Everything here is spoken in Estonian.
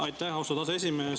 Aitäh, austatud aseesimees!